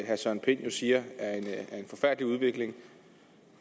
herre søren pind siger er en forfærdelig udvikling